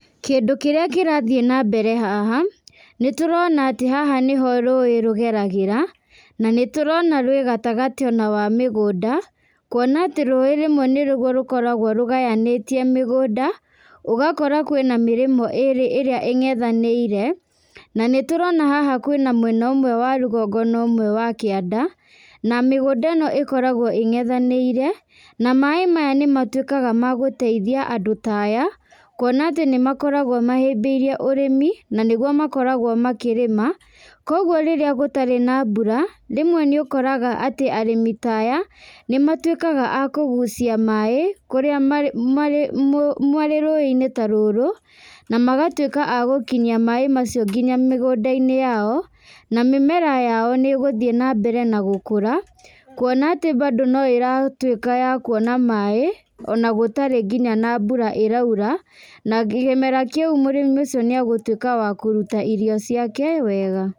Kĩndũ kĩrĩa kĩrathiĩ nambere haha, nĩtũrona atĩ haha nĩho rũĩ rũgeragĩra, nanĩtũrona rwĩ gatagatĩ ona wa mĩgũnda, kuona atĩ rũĩ rĩmwe nĩguo nĩrũkoragwo rũgayanĩtie mĩgũnda, ũgakora kwĩna mĩrĩmo ĩrĩ irĩa ingethanĩire, na nĩtũrona haha kwĩna mwena ũmwe wa rũgongona ũmwe wa kianda, na mĩgũnda ĩno ĩkoragwo ĩngethanĩire, na maĩ maya nĩmatuĩkaga ma gũteithia andũ ta aya, kuona atĩ nĩmakoragwo mahĩmbĩirie ũrĩmĩ, na nĩguo makoragwo makĩrĩma, koguo rĩrĩa gũtarĩ na mbura, rĩmwe nĩũkoraga atĩ arĩmi ta aya, nĩmatuĩkaga a kũgucia maĩ, kũrĩa marĩ marĩ mũ mũ marĩ rũĩnĩ ta rũrũ, namagatuĩka a gũkinyia maĩ macio nginya mĩgũndainĩ yao, na mĩmera yao nĩgũthiĩ nambere na gũkũra, kuona atĩ bandũ no ĩratuĩka ya kuona maĩ, ona gũtarĩ nginya na mbura ĩraura, na kĩmera kĩũ mũrĩmi ũcio nĩagũtuĩka wa kũruta irio ciake wega.